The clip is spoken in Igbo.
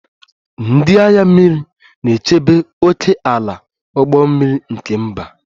Ndị agha mmiri na-echebe ókèala ụgbọ mmiri nke mba